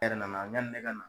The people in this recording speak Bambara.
Erɛ nana yani nɛ ka na